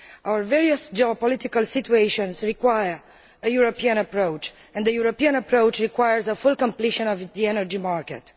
Our various geopolitical situations require a European approach and the European approach requires full completion of the energy market.